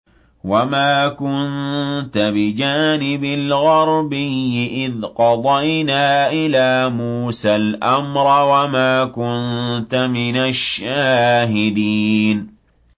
وَمَا كُنتَ بِجَانِبِ الْغَرْبِيِّ إِذْ قَضَيْنَا إِلَىٰ مُوسَى الْأَمْرَ وَمَا كُنتَ مِنَ الشَّاهِدِينَ